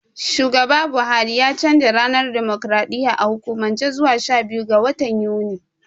Shugaba Buhari ya canja ranar dimokraɗiyya a hukumance zuwa shabiyu ga watan Yuni.